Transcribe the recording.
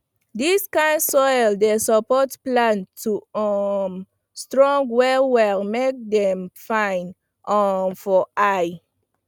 dis kind soil dey support plant to um strong well well make dem dey fine um for eye